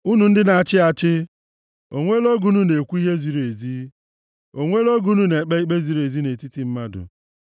Unu ndị na-achị achị, O nweela oge unu na-ekwu ihe ziri ezi? O nweela oge unu na-ekpe ikpe ziri ezi nʼetiti mmadụ?